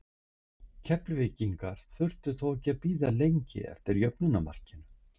Keflvíkingar þurftu þó ekki að bíða lengi eftir jöfnunarmarkinu.